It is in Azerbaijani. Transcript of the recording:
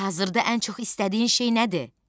Hazırda ən çox istədiyin şey nədir?